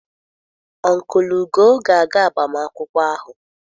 Ọnkụlụ Ugo ga-aga agbamakwụkwọ ahụ.